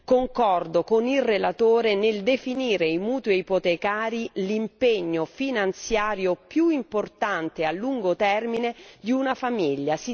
Concordo con il relatore nel definire i mutui ipotecari l'impegno finanziario più importante a lungo termine di una famiglia.